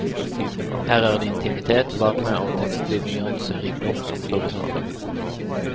Her er det intimitet, varme og tekstlig nyanserikdom som står i sentrum.